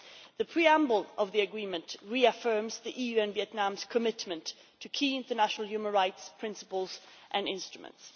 The preamble of the agreement reaffirms the EU's and Vietnam's commitment to key international human rights principles and instruments.